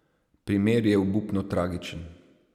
Primer je obupno tragičen.